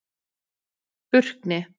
Burkni